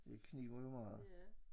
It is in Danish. Det kniber jo meget